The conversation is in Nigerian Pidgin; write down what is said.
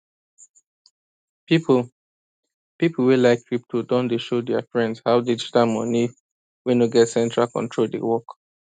people people wey like crypto don dey show their friends how digital money wey no get central control dey work